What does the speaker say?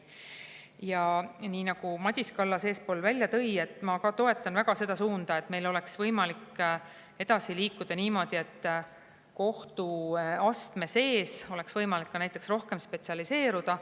Ja nii nagu Madis Kallas eespool välja tõi – ma ka toetan väga seda suunda –, meil oleks võimalik edasi liikuda niimoodi, et näiteks kohtuastme sees oleks võimalik rohkem spetsialiseeruda.